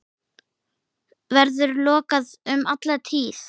Verður lokaður um alla tíð.